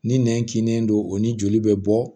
Ni nɛn kinnen don o ni joli bɛ bɔ